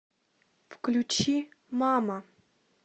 включи мама